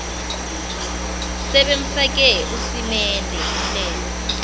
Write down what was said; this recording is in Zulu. sebemfake usimende umlenze